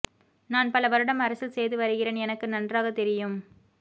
நான் பல வருடம் அரசில் செய்து வருகிறேன் எனக்கு நன்றாக தெரியும்